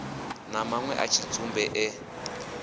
na manwe a tshidzumbe e